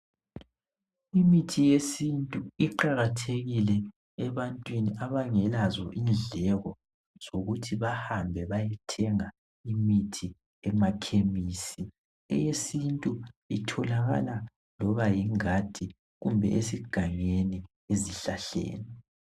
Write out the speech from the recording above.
Imithi yesintu iqakathekile ebantwini abangelazo indleko zokuthi bahambe bayethenga imithi emakhemisi eyesintu itholakala loba yingadi kumbe esigangeni ezihlahleni